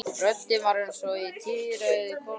Röddin var eins og í tíræðri konu.